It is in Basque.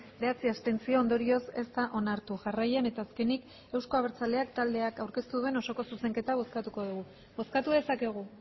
bederatzi abstentzio ondorioz ez da onartu jarraian eta azkenik euzko abertzaleak taldeak aurkeztu duen osoko zuzenketa bozkatuko dugu bozkatu dezakegu